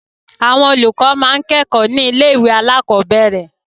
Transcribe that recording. Àwọn olùkọ́ máa ń kẹ́kọ̀ọ́ ní ilé-ìwé alákọ̀ọ́bẹ̀rẹ̀.